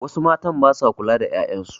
Wasu matn ba sa kula da 'ya'yan su.